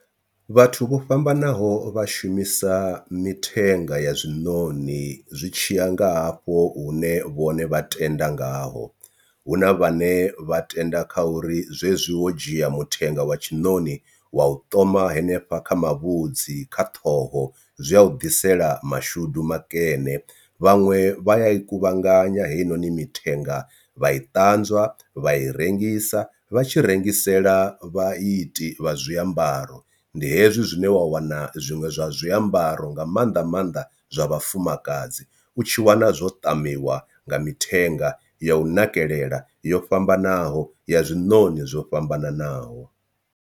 Vhathu vho fhambanaho vha shumisa mithenga ya zwinoni zwi tshiya nga hafho hune vhone vha tenda ngaho, hu na vhane vha tenda kha uri zwezwi wo dzhia mutengo wa tshiṋoni wa u to thoma hanefha kha mavhudzi kha ṱhoho zwi ya u ḓisela mashudu makene. Vhaṅwe vha ya i kuvhanganya heyi noni mithenga vha i ṱanzwa vha i rengisa vha tshi rengisela vha iti vha zwiambaro, ndi hezwi zwine wa wana zwiṅwe zwa zwiambaro nga maanḓa maanḓa zwa vhafumakadzi u tshi wana zwo ṱamiwa nga mithenga ya u nakelela yo fhambanaho ya zwinoni zwo fhambananaho.